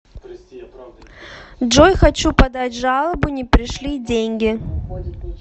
джой хочу подать жалобу не пришли деньги